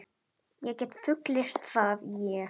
Ég get fullyrt það, ég.